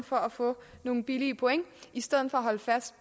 for at få nogle billige point i stedet for at holde fast